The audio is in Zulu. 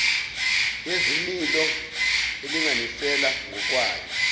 yezimilo elinganisela ngokwayo